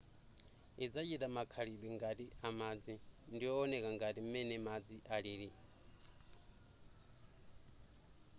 idzachita makhalidwe ngati amadzi ndiyowoneka ngati m'mene madzi alili